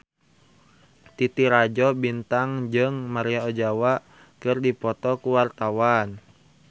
Titi Rajo Bintang jeung Maria Ozawa keur dipoto ku wartawan